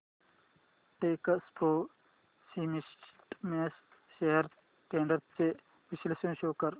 Techpro Systems shares trends चे विश्लेषण show कर